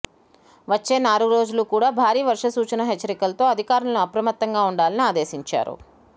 వచ్చే నాలుగురోజులు కూడా భారీ వర్ష సూచన హెచ్చరికలతో అధికారులు అప్రమత్తంగా ఉండాలని ఆదేశించారు